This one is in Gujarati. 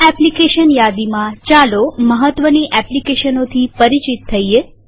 આ એપ્લીકેશન યાદીમાંચાલો મહત્વની એપ્લીકેશનોથી પરિચિત થઈએ